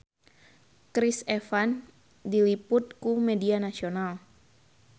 Chris Evans diliput ku media nasional